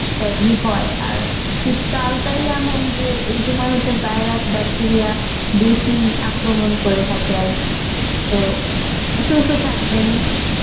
বাধি হয় আর শীতকালটাই এমন যে এইসময়টা হচ্ছে virus bacteria বেশি আক্রমন করে থাকে আরকি তো সুস্থ থাকবেন